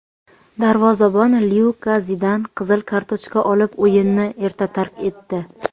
darvozabon Lyuka Zidan qizil kartochka olib o‘yinni erta tark etdi.